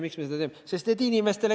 Miks me seda teeme?!